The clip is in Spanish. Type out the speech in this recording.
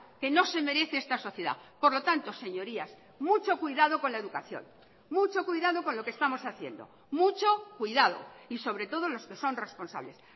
que no se merece esta sociedad por lo tanto señorías mucho cuidado con la educación mucho cuidado con lo que estamos haciendo mucho cuidado y sobre todo los que son responsables